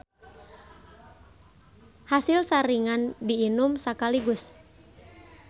Hasilsaringan di inum sakaligus.